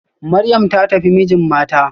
Maryam ta tafi mijin mata